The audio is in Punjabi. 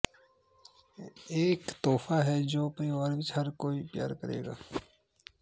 ਇਹ ਇਕ ਤੋਹਫ਼ਾ ਹੈ ਜੋ ਪਰਿਵਾਰ ਵਿਚ ਹਰ ਕੋਈ ਪਿਆਰ ਕਰੇਗਾ